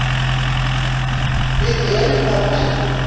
Við erum það enn.